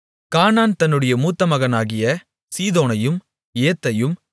கானான் தன்னுடைய மூத்தமகனாகிய சீதோனையும் ஏத்தையும்